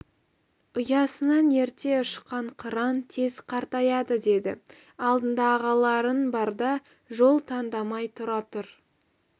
ұясынан ерте ұшқан қыран тез қартаяды деді алдыңда ағаларың барда жол таңдамай тұра тұр